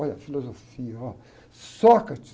Olha, filosofia, ó. Sócrates.